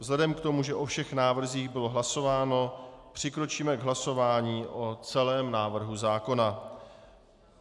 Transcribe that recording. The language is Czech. Vzhledem k tomu, že o všech návrzích bylo hlasováno, přikročíme k hlasování o celém návrhu zákona.